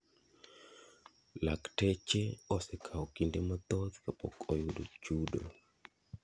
Lakteche osekawo kinde mathoth kapok oyudo chudo.